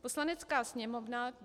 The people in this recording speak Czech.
Poslanecká sněmovna